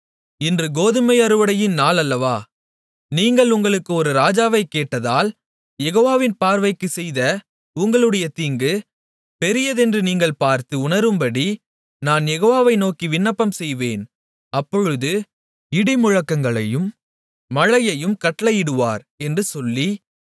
இன்று கோதுமை அறுவடையின் நாள் அல்லவா நீங்கள் உங்களுக்கு ஒரு ராஜாவைக் கேட்டதால் யெகோவாவின் பார்வைக்குச் செய்த உங்களுடைய தீங்கு பெரியதென்று நீங்கள் பார்த்து உணரும்படி நான் யெகோவாவை நோக்கி விண்ணப்பம்செய்வேன் அப்பொழுது இடிமுழக்கங்களையும் மழையையும் கட்டளையிடுவார் என்று சொல்லி